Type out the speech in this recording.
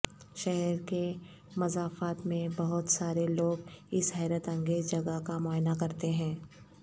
شہر کے مضافات میں بہت سارے لوگ اس حیرت انگیز جگہ کا معائنہ کرتے ہیں